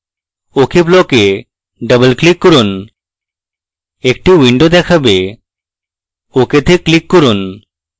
ok block double click করুন একটি window দেখাবে ok তে click করুন